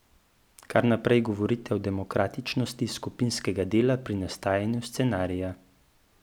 Kar naprej govorite o demokratičnosti skupinskega dela pri nastajanju scenarija.